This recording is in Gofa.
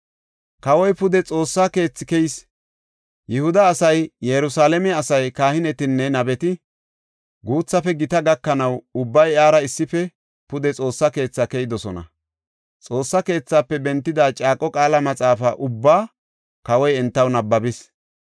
Kawoy pude Xoossa keethi keyis; Yihuda asay, Yerusalaamen de7iya asay, kahinetinne nabeti, guuthafe gita gakanaw ubbay iyara issife pude Xoossa keethi keyidosona. Xoossa keethafe bentida caaqo qaala maxaafa ubbaa kawoy entaw nabbabis.